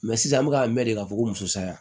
Mɛ sisan an bɛ ka mɛn de ka fɔ ko muso saya